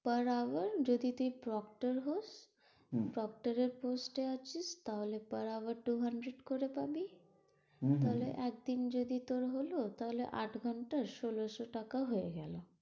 তার আগে যদি তুই, proptor হোস proptor এর post এ আছিস, তাহলে তোর আবার two hundred করে পাবি। তাহলে এতদিন তোর যদি হল তাহলে আট ঘন্টায় ষোলোশো টাকা হয়ে গেল।